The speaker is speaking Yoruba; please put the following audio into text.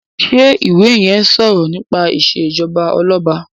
ṣe iwè yén o sọrọ nípa ìṣèjọba Ọlọba?